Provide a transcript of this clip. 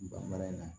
Bamanan na